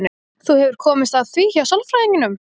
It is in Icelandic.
Þú hefur komist að því hjá sálfræðingnum?